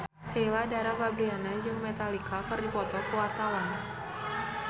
Fanny Fabriana jeung Metallica keur dipoto ku wartawan